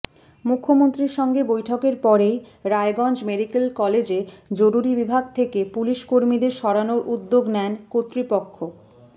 মুখ্যমন্ত্রীর সঙ্গে বৈঠকের পরেই রায়গঞ্জ মেডিক্যাল কলেজে জরুরি বিভাগ থেকে পুলিশকর্মীদের সরানোর উদ্যোগ নেন কর্তৃপক্ষ